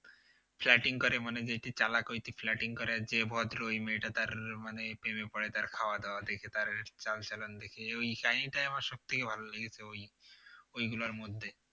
Flirting করে মানে যেতেই চালাক হইতো flirting করে যে ভদ্র ওই মেয়ে টা তার মানে প্রেমে পড়ে তার খাওয়া-দাওয়া দেখে তার চালচলন দেখে ওই টাই আমার সবথেকে ভালো লেগেছে ওই ঐগুলার মধ্যে